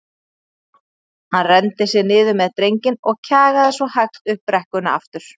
Hann renndi sér niður með drenginn og kjagaði svo hægt upp brekkuna aftur.